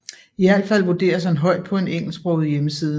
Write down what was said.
I alt fald vurderes han højt på en engelsksproget hjemmeside